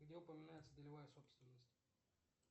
где упоминается долевая собственность